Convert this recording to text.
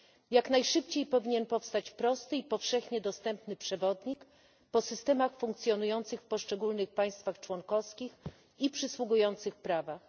Jak najszybciej powinien powstać prosty i powszechnie dostępny przewodnik po systemach funkcjonujących w poszczególnych państwach członkowskich i przysługujących prawach.